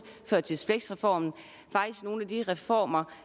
førtids fleks reformen faktisk nogle af de reformer